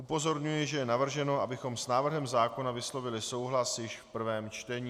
Upozorňuji, že je navrženo, abychom s návrhem zákona vyslovili souhlas již v prvním čtení.